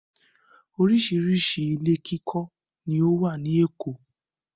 oríṣiríṣi ilé kíkọ́ ni ó wà ní Èkó.